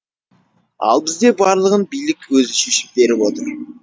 ал бізде барлығын билік өзі шешіп беріп отыр